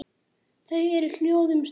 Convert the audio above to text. Þau eru hljóð um stund.